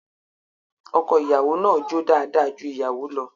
Ọko-ìyàwó náà jó dáadáa ju ìyàwó lọ